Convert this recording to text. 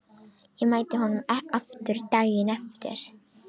Ég mætti honum aftur daginn eftir.